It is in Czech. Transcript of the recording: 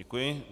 Děkuji.